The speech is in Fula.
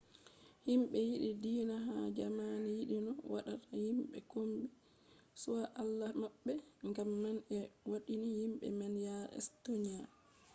himɓe yiɗi diina ha jamani yiɗino wadda himɓe kombi be allah maɓɓe gam man ɓe waddini himɓe man yare estoniya